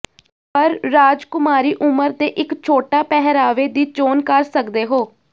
ਪਰ ਰਾਜਕੁਮਾਰੀ ਉਮਰ ਦੇ ਇੱਕ ਛੋਟਾ ਪਹਿਰਾਵੇ ਦੀ ਚੋਣ ਕਰ ਸਕਦੇ ਹੋ